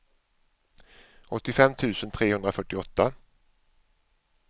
åttiofem tusen trehundrafyrtioåtta